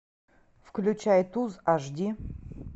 включай туз аш ди